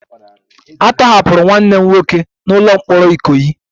A tọhapụrụ nwanne m nwoke n'ụlọ mkpọrọ ikoyi